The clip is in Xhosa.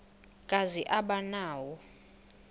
kazi aba nawo